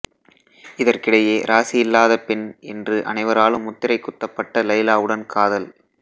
இதற்கிடையே ராசியில்லாத பெண் என்று அனைவராலும் முத்திரைக் குத்தப்பட்ட லைலாவுடன் காதல்